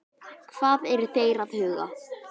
Hvað eru þeir að huga?